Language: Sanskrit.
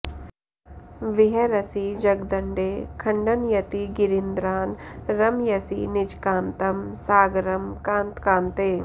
विहरसि जगदण्डे खण्डंयती गिरीन्द्रान् रमयसि निजकान्तं सागरं कान्तकाते